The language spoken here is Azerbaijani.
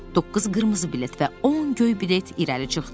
Doqquz qırmızı bilet və on göy bilet irəli çıxdı.